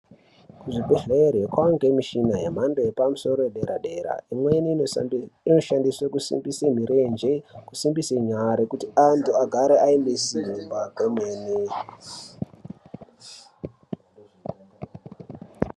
Kuzvibhedhlera kwakuwanikwa mishina yemhando yepamusoro yedera dera imweni inoshandiswa kusimbisa mirenje nekusimbisa nyara kuti antu agare aine Simba remene.